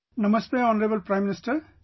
Namaste Honorable Prime Minister